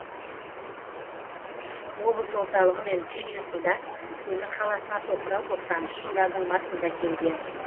облыс орталығымен түйдей құрдас темір қаласына тоқырау тоқсаныншы жылдардың басында келген